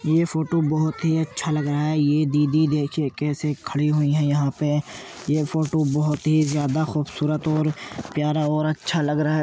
ये फोटो बोहोत ही अच्छा लग रहा है। ये दीदी देखिये कैसे खड़ी हुई है यहाँ पे ? ये फोटो बोहोत ही ज़्यादा खूबसूरत और प्यारा और अच्छा लग रहा --